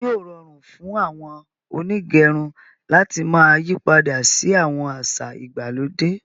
Ṣe yóò rọrun fún àwọn onígẹrun làti máa yípadà sí àwọn àṣà ìgbàlódé?